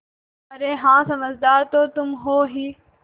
अरे हाँ समझदार तो तुम हो ही